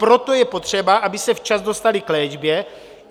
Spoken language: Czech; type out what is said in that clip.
Proto je potřeba, aby se včas dostali k léčbě.